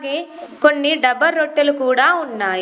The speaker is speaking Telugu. కొన్ని డబ రొట్టెలు కూడా ఉన్నాయి.